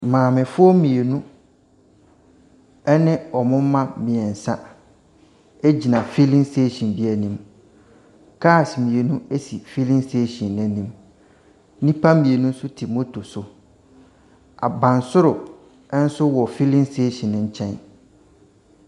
Maamefoɔ mmienu ne wɔn mma mmeɛnsa gyina filling station bi anim. Cars mmienu si filling station no anim, Nnipa mmienu nso te moto so. Abansoro nso wɔ fillin station no nkyɛn.